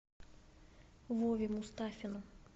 вове мустафину